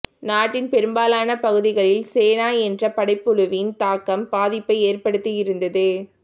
நாட்டின் பெரும்பாலான பகுதிகளில் சேனா என்ற படைப்புழுவின் தாக்கம் பாதிப்பை ஏற்படுத்தியிருந்தது